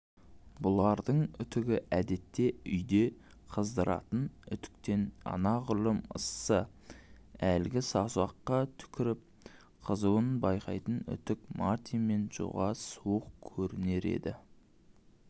бұлардың үтігі әдетте үйде қыздыратын үтіктен анағұрлым ыссы әлгі саусаққа түкіріп қызуын байқайтын үтік мартин мен джоға суық көрінер еді